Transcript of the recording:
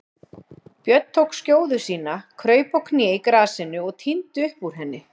Björn tók skjóðu sína, kraup á kné í grasinu og tíndi upp úr henni.